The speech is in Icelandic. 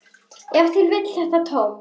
Ef til vill þetta tóm.